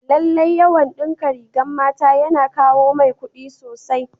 Lallai dinkin rigar mata yana yawan kawo mai kudi sosai.